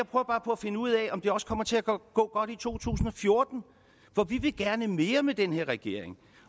bare på at finde ud af om det også kommer til at gå godt i to tusind og fjorten for vi vil gerne mere med den her regering